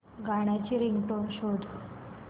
गाण्याची रिंगटोन शोध